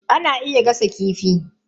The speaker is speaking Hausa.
Ana iya gasa kifi.